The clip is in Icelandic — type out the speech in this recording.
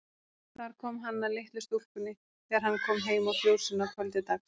Þar kom hann að litlu stúlkunni þegar hann kom heim úr fjósinu að kvöldi dags.